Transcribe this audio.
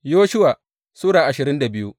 Yoshuwa Sura ashirin da biyu